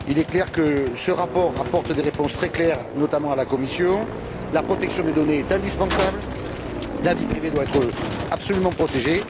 Il est manifeste que ce rapport apporte des réponses très claires, notamment à la Commission la protection des données est indispensable, la vie privée doit absolument être protégée.